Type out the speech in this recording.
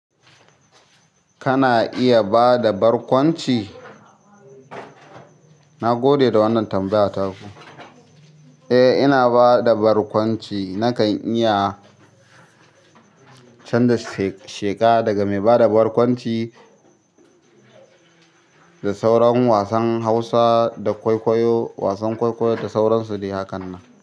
Kana iya bada barkwanci? Na gode da wannan tambaya taku. Eh, ina bada barkwanci. Nakan iya canza sheƙa daga mai bada barkwanci da sauran wasan Hausa da wasan kwaikwayo da sauran su dae hakan nan.